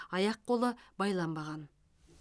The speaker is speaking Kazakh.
аяқ қолы байланбаған